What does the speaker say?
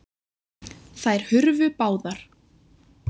Þær hurfu báðar.